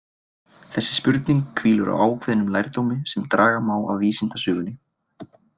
Þessi spurning hvílir á ákveðnum lærdómi sem draga má af vísindasögunni.